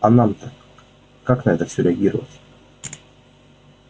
а нам-то как на это всё реагировать